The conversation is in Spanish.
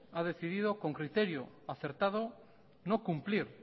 ha decidido con criterio acertado no cumplir